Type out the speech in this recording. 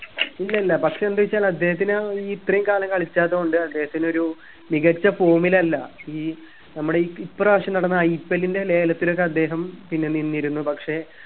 ഇല്ലില്ല പക്ഷെ എന്തെവെച്ചാൽ അദ്ദേഹത്തിന് ഈ ഇത്രേം കാലം കാലിക്കാത്തൊണ്ട് അദ്ദേഹത്തിനൊരു മികച്ച form ൽ അല്ല ഈ നമ്മുടെ ഇ ഇപ്രാവശ്യം നടന്ന IPL ന്റെ ലേലത്തിനൊക്കെ അദ്ദേഹം പിന്നെ നിന്നിരുന്നു പക്ഷെ